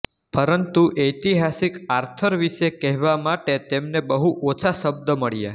પરંતુ ઐતિહાસિક આર્થર વિશે કહેવા માટે તેમને બહુ ઓછા શબ્દ મળ્યા